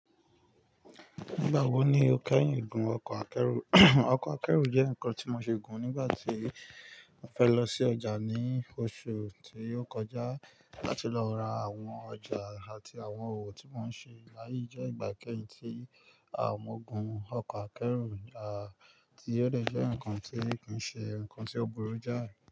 Nígbà wọ ní o kẹ́yìn gún ọkọ̀ akẹ́rù? Ọkọ̀ akẹ́rù jẹ́ nǹkan tí mo se gùn nígbà tí mo fẹ́ lọ sí ọjà ní oṣù tí ó kọjá láti lọ ra àwọn ọjà àti àwọn òwò tí mò ń ṣe. Láyé je ìgbà kẹ́yìn tí mo gun ọkọ̀ akẹ́rù, tí ó de jẹ́ nǹkan tí kí ṣe, nǹkan tí ó burú jáì.